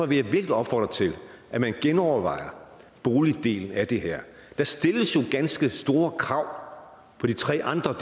virkelig opfordre til at man genovervejer boligdelen af det her der stilles jo ganske store krav på de tre andre